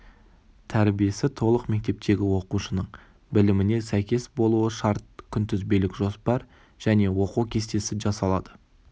тәрбиесі толық мектептегі оқушының біліміне сәйкес болуы шарт күнтізбелік жоспар және оқу кестесі жасалады